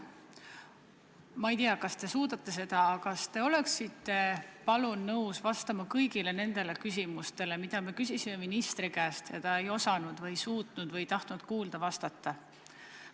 Ma ei tea, kas te suudate seda, aga kas te oleksite, palun, nõus vastama kõigile nendele küsimustele, mida me küsisime ministri käest, aga ta ei osanud või ei suutnud või ei tahtnud kuulda ega vastata.